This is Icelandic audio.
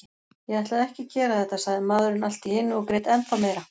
Ég ætlaði ekki að gera þetta, sagði maðurinn allt í einu og grét ennþá meira.